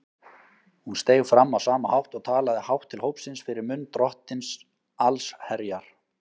Hún steig fram á sama hátt og talaði hátt til hópsins fyrir munn Drottins allsherjar.